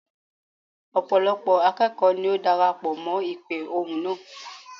Ọ̀pọ̀lọ́pọ̀ akẹ́kọ̀ọ́ ní ó darapọ̀ mọ́ ìpè ohùn náà.